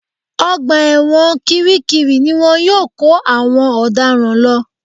Ọgbà ẹ̀wọ̀n kiri kiri ni wọ́n yóò kó àwọn ọ̀daràn lọ